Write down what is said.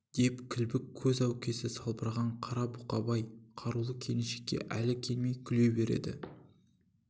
деп кілбік көз әукесі салбыраған қара бұқабай қарулы келіншекке әлі келмей күле береді